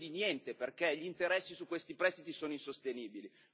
In cambio di niente, perché gli interessi su questi prestiti sono insostenibili.